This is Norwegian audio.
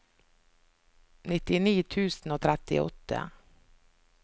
nittini tusen og trettiåtte